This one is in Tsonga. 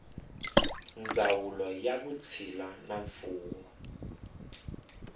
ndzawulo ya vutshila na mfuwo